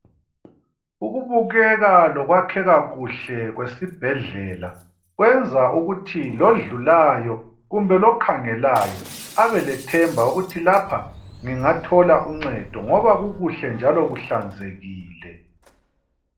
Ukubukeka lokwakheka kuhle kwesibhedlela kwenza ukuthi lodlulayo kumbe lokhangelayo abalethemba ukuthi lapha ngingathola uncedo ngoba kukuhle njalo kuhlanzekile.